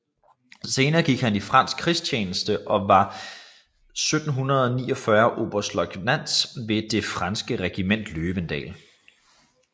Senere gik han i fransk krigstjeneste og var 1747 oberstløjtnant ved det franske regiment Løvendal